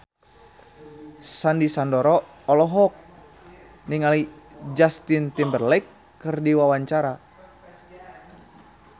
Sandy Sandoro olohok ningali Justin Timberlake keur diwawancara